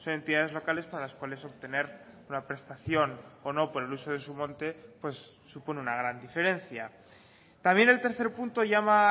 entidades locales para las cuales obtener la prestación o no por el uso de su monte supone una gran diferencia también el tercer punto llama a